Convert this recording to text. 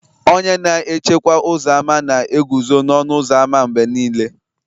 Onye na echekwa ụzọ ámá na-eguzo n'ọnụ ụzọ ámá mgbe niile